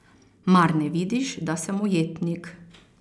Mar ne vidiš, da sem ujetnik?